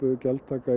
gjaldtaka